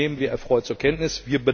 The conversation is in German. Das nehmen wir erfreut zur Kenntnis.